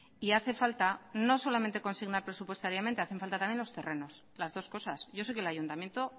y hace falta no solamente consignar presupuestariamente hacen falta también los terrenos las dos cosas yo sé que el ayuntamiento